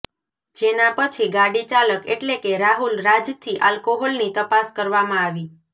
જેના પછી ગાડી ચાલક એટલે કે રાહુલ રાજથી આલ્કોહોલની તપાસ કરવામાં આવી